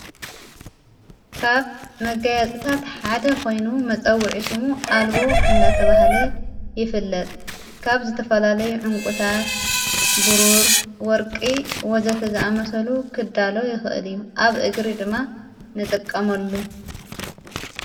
ካብ መጋያጽታት ሓደ ኾይኑ መጸዊዒ ሹሙ ኣልቦ እንዳተ ብሃለ ይፍለጥ ካብ ዝተፈላለይ ዑንቊታት ቡሩር ወርቂ ወዘተ ዝኣ መሰሉ ክዳሎ ይኽእድ እዩ ኣብ እግሪ ድማ ንጠቀሞሉ።